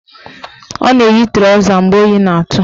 Ọ na-eyi trọza mgbe oyi na-atụ